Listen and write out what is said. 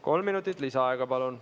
Kolm minutit lisaaega, palun.